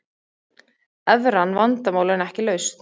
Evran vandamál en ekki lausn